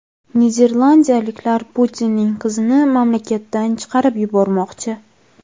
Niderlandiyaliklar Putinning qizini mamlakatdan chiqarib yubormoqchi.